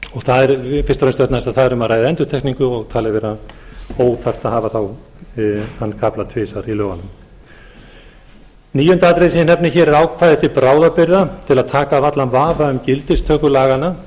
það er fyrst og fremst vegna þess að það er um að ræða endurtekningu og talið vera óþarft að hafa þá þann kafla tvisvar í lögunum níunda atriðið sem ég nefni hér er ákvæði til bráðabirgða til að taka af allan vafa um gildistöku laganna